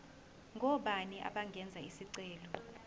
ngobani abangenza isicelo